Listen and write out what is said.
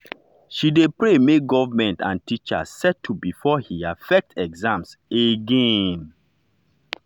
she dey pray make government and teachers settle before he affect exams again.